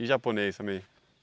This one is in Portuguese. E japonês também?